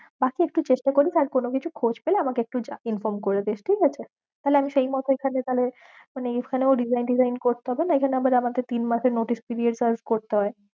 বাকি একটু চেষ্টা করিস আর কোনো কিছু খোজ পেলে আমাকে একটু inform করেদিশ ঠিকাছে, তাহলে আমি সেই মত এখানে তাহলে মানে এখানেও resign tesign করতে হবে না, এখানেও আমাকে আবার তিন মাসের notice period serve করতে হয়ে।